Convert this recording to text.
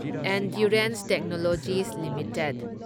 endurance Technologies limited